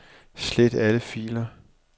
Slet alle filer.